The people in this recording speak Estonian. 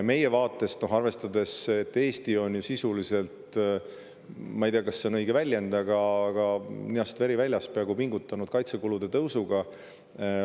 Eesti on ju – ma ei tea, kas see on õige väljend – peaaegu ninast veri väljas pingutanud, et tõsta kaitsekulutusi.